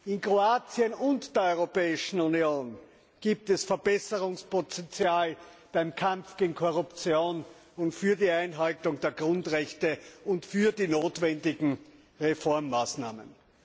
In Kroatien und in der Europäischen Union gibt es Verbesserungspotenzial beim Kampf gegen Korruption und für die Einhaltung der Grundrechte und bei den notwendigen Reformmaßnahmen.